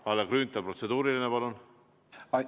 Kalle Grünthal, protseduuriline palun!